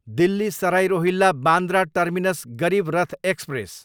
Delhi Sarai Rohilla, Bandra terminus Garib Rath express